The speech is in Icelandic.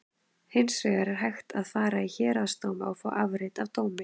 Hins vegar er hægt að fara í héraðsdóma og fá afrit af dómi.